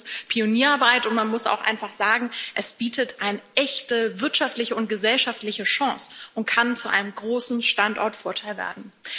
Das ist Pionierarbeit, und man muss auch einfach sagen, es bietet eine echte wirtschaftliche und gesellschaftliche Chance und kann zu einem großen Standortvorteil werden.